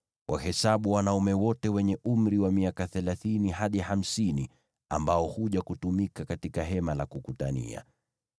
Wahesabu wanaume wote wenye umri wa miaka thelathini hadi hamsini ambao huja kutumika katika Hema la Kukutania.